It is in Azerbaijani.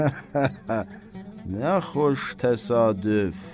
Nə xoş təsadüf!